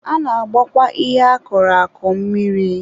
A na-agbakwa ihe a kọrọ akọ mmiri.